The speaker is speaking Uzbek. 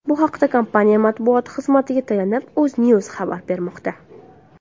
Bu haqda, kompaniya matbuot xizmatiga tayanib, UzNews xabar bermoqda .